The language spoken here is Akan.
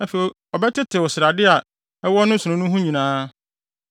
Afei ɔbɛtetew srade a ɛwɔ ne nsono no ho nyinaa,